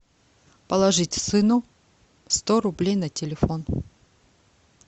положить сыну сто рублей на телефон